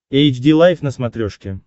эйч ди лайф на смотрешке